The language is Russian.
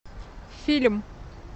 фильм